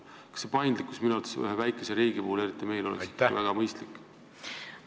Kas paindlikkus, mis ühes väikeses riigis minu arvates võimalik on, ei oleks väga mõistlik?